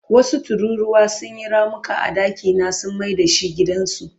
Wasu tururuwa sun yi ramuka a dakina sun mai da shi gidansu.